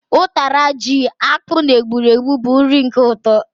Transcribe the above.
Ụtara ji, akpu na egburegbu bu nri uke ụtọ